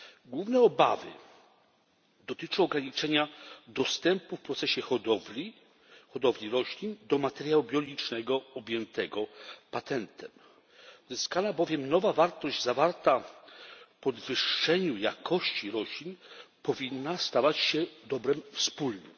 Główne obawy dotyczą ograniczenia dostępu w procesie hodowli roślin do materiału biologicznego objętego patentem, uzyskana bowiem nowa wartość zawarta w podwyższeniu jakości roślin powinna stawać się dobrem wspólnym.